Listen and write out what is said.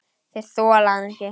Þeir þola hann ekki.